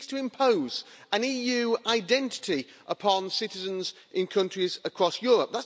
It seeks to impose an EU identity upon citizens in countries across Europe.